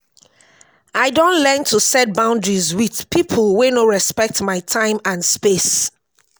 i don learn to set boundaries with people wey no respect my time and space.